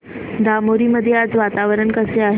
धामोरी मध्ये आज वातावरण कसे आहे